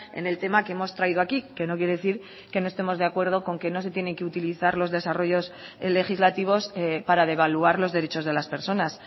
en el tema que hemos traído aquí que no quiere decir que no estemos de acuerdo con que no se tiene que utilizar los desarrollos legislativos para devaluar los derechos de las personas